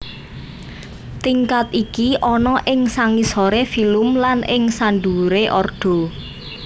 Tingkat iki ana ing sangisoré filum lan ing sandhuwuré ordo